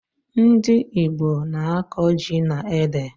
Ndị Igbo na-akọ ji na ede